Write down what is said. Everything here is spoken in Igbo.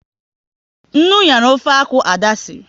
Nnu nyara ofe akwụ, Ada sịrị